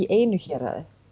einu héraði